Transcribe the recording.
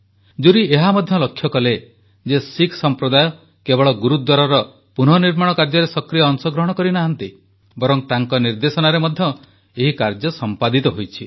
jury ଏହା ମଧ୍ୟ ଲକ୍ଷ୍ୟକଲେ ଯେ ଶିଖ ସମ୍ପ୍ରଦାୟ କେବଳ ଗୁରୁଦ୍ୱାରର ପୁନଃନିର୍ମାଣ କାର୍ଯ୍ୟରେ ସକ୍ରିୟ ଅଂଶଗ୍ରହଣ କରିନାହାଁନ୍ତି ବରଂ ତାଙ୍କ ନିର୍ଦ୍ଦେଶନାରେ ମଧ୍ୟ ଏହି କାର୍ଯ୍ୟ ସମ୍ପାଦିତ ହୋଇଛି